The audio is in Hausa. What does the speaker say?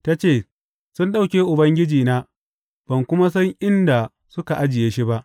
Ta ce, Sun ɗauke Ubangijina, ban kuma san inda suka ajiye shi ba.